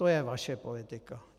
To je vaše politika.